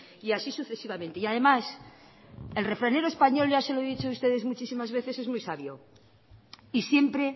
y así sucesivamente y además el refranero español ya se lo he dicho ustedes muchísimas veces es muy sabio y siempre